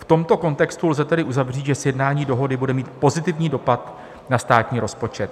V tomto kontextu lze tedy uzavřít, že sjednání dohody bude mít pozitivní dopad na státní rozpočet.